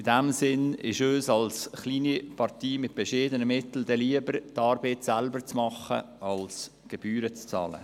In diesem Sinne ist es uns als kleine Partei mit bescheidenen Mitteln lieber, die Arbeit selber zu machen, als Gebühren zu zahlen.